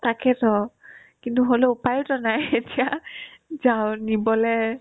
তাকেতো কিন্তু হ'লেও উপাইতো নাই এতিয়া যাও নিবলে